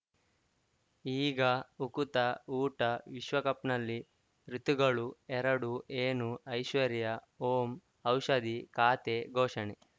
ಈಗ ಉಕುತ ಊಟ ವಿಶ್ವಕಪ್‌ನಲ್ಲಿ ಋತುಗಳು ಎರಡು ಏನು ಐಶ್ವರ್ಯಾ ಓಂ ಔಷಧಿ ಖಾತೆ ಘೋಷಣೆ